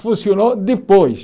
Funcionou depois.